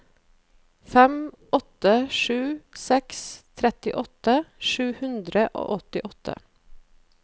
fem åtte sju seks trettiåtte sju hundre og åttiåtte